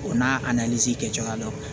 O n'a a kɛcogoya dɔn